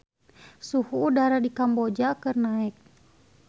Suhu udara di Kamboja keur naek